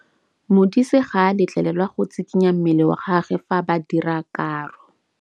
Modise ga a letlelelwa go tshikinya mmele wa gagwe fa ba dira karô.